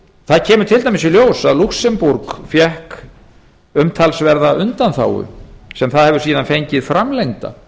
það kemur til dæmis í ljós að lúxemborg fékk umtalsverðar undanþágu sem það hefur síðan fengið framlengda